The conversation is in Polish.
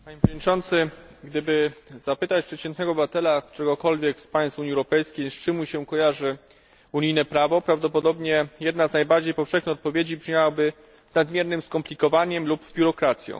Panie Przewodniczący! Gdyby zapytać przeciętnego obywatela któregokolwiek z państw Unii Europejskiej, z czym mu się kojarzy unijne prawo, prawdopodobnie jedna z najbardziej powszechnych odpowiedzi brzmiałaby z nadmiernym skomplikowaniem lub biurokracją.